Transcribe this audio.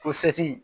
Ko seti